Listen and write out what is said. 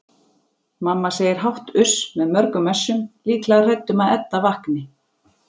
Mamma segir hátt uss með mörgum essum, líklega hrædd um að Edda vakni.